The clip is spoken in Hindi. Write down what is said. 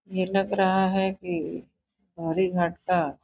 यह लग रहा है कि मुरीघाट का --